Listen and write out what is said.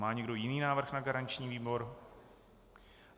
Má někdo jiný návrh na garanční výbor?